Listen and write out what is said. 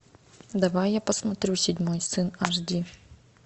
давай я посмотрю седьмой сын аш ди